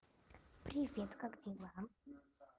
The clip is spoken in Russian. привет как дела